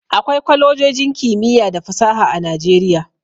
Akwai kwalejojin kimiyya da fasaha a Nijeriya.